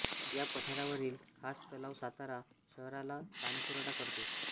या पठारावरील कास तलाव सातारा शहराला पाणीपुरवठा करतो